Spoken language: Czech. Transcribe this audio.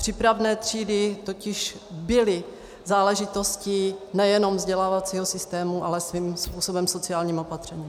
Přípravné třídy totiž byly záležitostí nejenom vzdělávacího systému, ale svým způsobem sociálním opatřením.